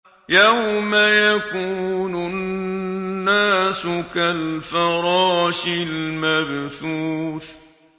يَوْمَ يَكُونُ النَّاسُ كَالْفَرَاشِ الْمَبْثُوثِ